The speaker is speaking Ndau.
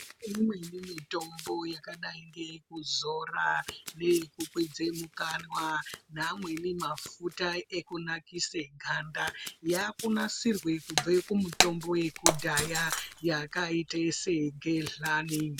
Kune imweni mitombo yakadai ngeyekuzora, neyekukwidze mukanwa neamweni mafuta ekunakise ganda, yaakunasirwa kubve kumutombo yekudhaya yakaite segedhlani.